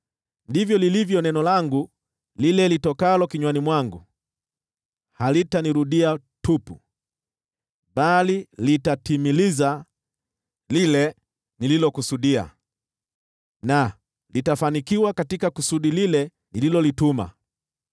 ndivyo lilivyo neno langu lile litokalo kinywani mwangu: Halitanirudia tupu, bali litatimiliza lile nililokusudia na litafanikiwa katika kusudi lile nililolituma.